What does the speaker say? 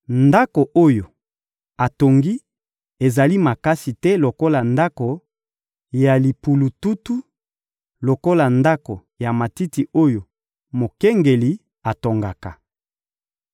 Ndako oyo atongi ezali makasi te lokola ndako ya limpulututu, lokola ndako ya matiti oyo mokengeli atongaka.